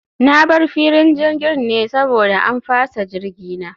Na bar filin jirgin ne saboda an fasa jirgi na